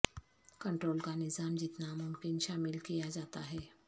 control کا نظام جتنا ممکن شامل کیا جاتا ہے